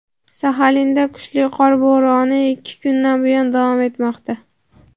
Saxalinda kuchli qor bo‘roni ikki kundan buyon davom etmoqda.